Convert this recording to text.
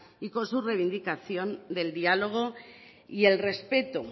y con su reivindicación del diálogo y el respeto